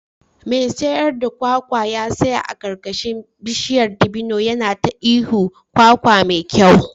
Mai sayar da kwakwa ya tsaya a karkashin bishiyar dabino yana ta ihun "kwakwa mai kyau"